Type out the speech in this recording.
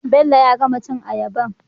bello ya gama cin ayabar